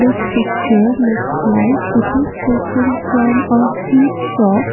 this picture looks like it is taken from a sweet shop.